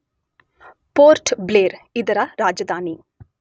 Port Blair ಇದರ ರಾಜಧಾನಿ.